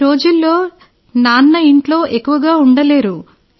ఈ రోజుల్లో నాన్న ఇంట్లో ఎక్కువగా ఉండలేరు